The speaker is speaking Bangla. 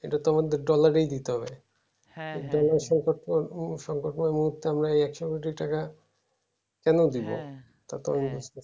এইটা তো আমাদের dollar এই দিতে হবে সংকটয়ের মধ্যে আমরা এই একশো কোটি টাকা কেন দিবো